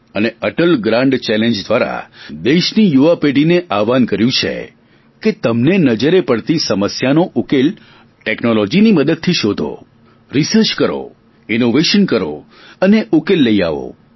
અને Atal grand challenge દ્વારા દેશની યુવા પેઢીને આહ્વવાહન કર્યું છે કે તમને નજરે પડતી સમસ્યાનો ઉકેલ ટેકનોલોજીની મદદથી શોધો રિસર્ચ કરો ઇનોવેશન કરો અને ઉકેલ લઈ આવો